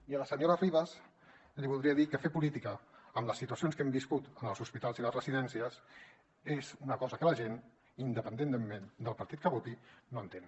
i a la senyora de ribes li voldria dir que fer política amb les situacions que hem viscut en els hospitals i les residències és una cosa que la gent independentment del partit que voti no entén